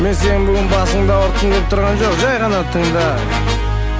мен сенің бүгін басыңды ауыртқым келіп тұрған жоқ жай ғана тыңда